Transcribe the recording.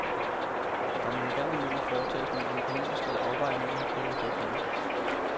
Der må engang imellem foretages nogle økonomiske afvejninger og vurderinger.